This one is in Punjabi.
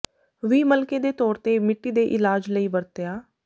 ਵੀ ਮਲਕੇ ਦੇ ਤੌਰ ਤੇ ਮਿੱਟੀ ਦੇ ਇਲਾਜ ਲਈ ਵਰਤਿਆ